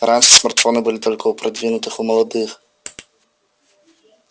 раньше смартфоны были только у продвинутых у молодых